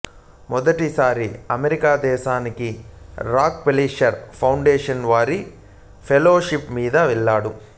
మొదటిసారి అమెరికా దేశానికి Rockefeller foundation వారి ఫెలోషిప్ మీద వెళ్ళాడు